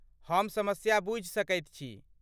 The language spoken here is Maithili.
हम समस्या बूझि सकैत छी।